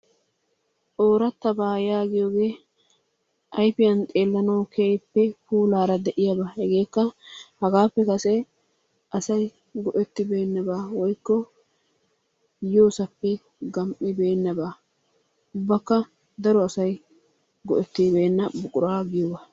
Ooratabaa yaagiyoogee ayfiyan xeelanawu keehippe puulaara de'iyaba hegeekka hagaappe kase asay go'ettibeenaba woykko yoosappe gam'ibeenaba ubbakka daro asay go'ettibeena buquraa giyoogaa